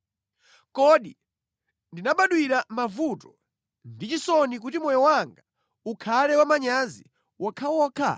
Kodi ndinabadwira mavuto ndi chisoni kuti moyo wanga ukhale wamanyazi wokhawokha?